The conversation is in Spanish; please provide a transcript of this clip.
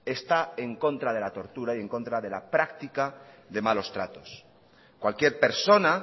está en contra de la tortura y en contra de la práctica de malos tratos cualquier persona